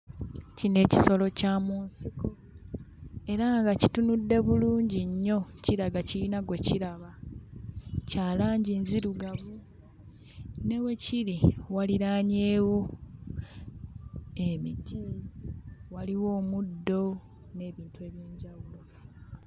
Kino ekisolo kya mu nsiko era nga kitunudde bulungi nnyo kiraga kiyina gwe kiraba. Kya langi nzirugavu, ne we kiri waliraanyeewo emiti, waliwo omuddo n'ebintu eby'enjawulo.